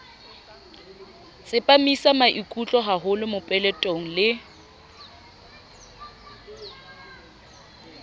tsepamisa maikutlo haholo mopeletong le